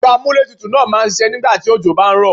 Ẹ̀rọ amúlé tutù náà máa ṣiṣẹ́ nígbà tí òjò bá ń rọ̀.